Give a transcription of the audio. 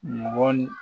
Mɔ ni